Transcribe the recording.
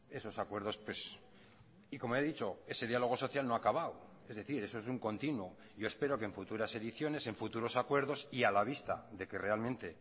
esos acuerdos y como he dicho ese diálogo social no ha acabado es decir eso es un continuo yo espero que en futuras ediciones en futuros acuerdos y a la vista de que realmente